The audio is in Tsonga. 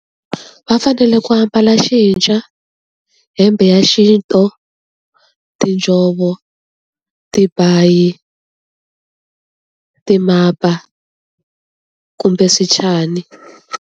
Va fanele ku ambala , hembe ya xintu, tinjhovo, tibayi, timapa kumbe swichani.